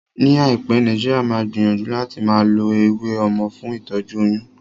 Ní àìpé, Nàìjíríà máa gbìyànjú láti máa lo eléwé ọmọ fún ìtọ́jú oyún